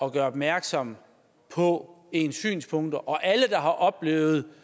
at gøre opmærksom på ens synspunkter og alle der har oplevet